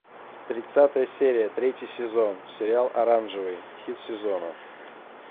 тридцатая серия третий сезон сериал оранжевый хит сезона